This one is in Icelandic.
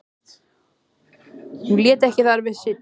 Hún lét ekki þar við sitja.